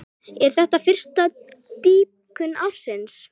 Er þetta fyrsta dýpkun ársins.